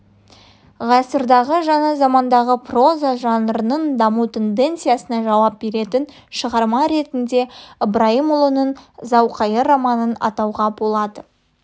ғасырдағы жаңа замандағы проза жанрының даму тенденциясына жауап беретін шығарма ретінде ыбырайымұлының зауқайыр романын атауға болады